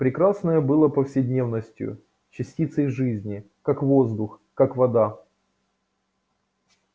прекрасное было повседневностью частицей жизни как воздух как вода